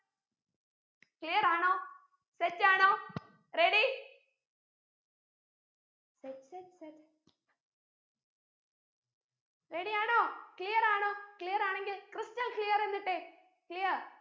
clear ആണോ set ആണോ ready ready ആണോ clear ആണോ clear ആണെങ്കിൽ ക്രിസ്റ്റൽ clear എന്നിട്ടേ clear